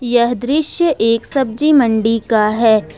यह दृश्य एक सब्जी मंडी का है।